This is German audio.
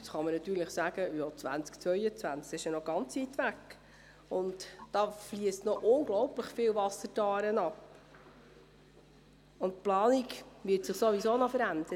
Jetzt kann man natürlich sagen, das Jahr 2022 liege noch weit entfernt, da fliesse noch unglaublich viel Wasser die Aare hinunter, und die Planung werde sich ohnehin noch verändern.